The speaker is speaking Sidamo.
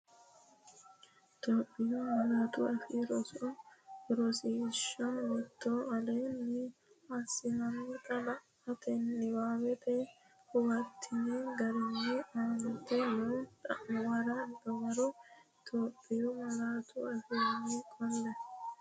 Itophiyu Malaatu Afii Roso Rosiishsha Mite Aleenni assitini la”ate niwaawe huwattini garinni aante noo xa’muwara dawaro Itophiyu malaatu afiinni qolle.